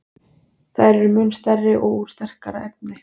Þær eru mun stærri og úr sterkara efni.